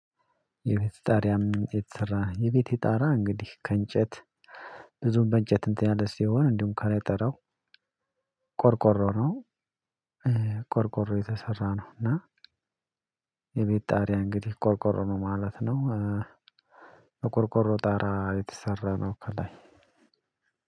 የቤት ጣሪያ ከምን የተሰራ? የቤቴ ጣሪያ እንግዲህ ከእንጨት ብዙም በእንጨት እንትን ያለ ሲሆን፣ እንዲሁም ከላይ ጣሪያው ቆርቆሮ ነው። ቆርቆሮ የተሰራ ነው እና የቤት ጣሪያ እንግዲህ ቆርቆሮ ነው ማለት ነው። ቆርቆሮ ጣሪያ የተሰራ ነው ከላይ።